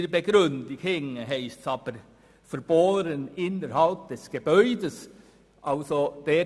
In seiner Begründung ist aber von «bohren innerhalb des Gebäudes» die Rede.